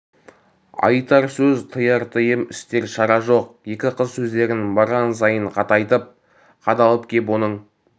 айтар сөз тыяр тыйым істер шара жоқ екі қыз сөздерін барған сайын қатайтып қадалып кеп оның